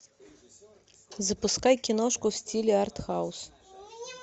запускай киношку в стиле артхаус